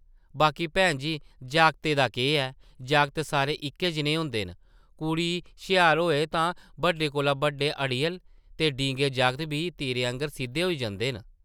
बाकी भैन जी, जागतै दा केह् ऐ, जागत सारे इक्कै जनेह् होंदे न, कुड़ी शेहार होऐ तां बड्डे कोला बड्डे अड़ियल ते डींगे जागत बी तीरै आंगर सिद्धे होई जंदे न ।